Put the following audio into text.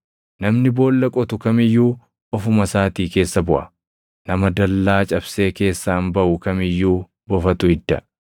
Namni boolla qotu kam iyyuu ofuma isaatii keessa buʼa; nama dallaa cabsee keessaan baʼu kam iyyuu bofatu idda.